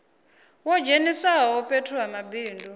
wo dzheniswaho fhethu ha mabindu